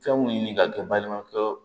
Fɛn mun ɲini ka kɛ balimakɛ ye